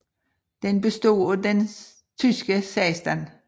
Den bestod af den tyske 16